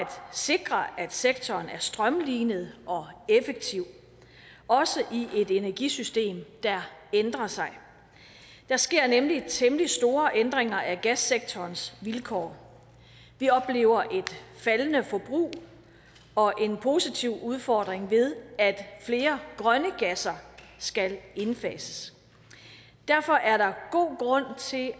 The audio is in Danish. sikre at sektoren er strømlinet og effektiv også i et energisystem der ændrer sig der sker nemlig temmelig store ændringer af gassektorens vilkår vi oplever et faldende forbrug og en positiv udfordring ved at flere grønne gasser skal indfases derfor er der god grund til